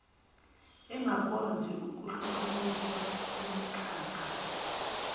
engakwazi ukuhlukaniswa kumikhakha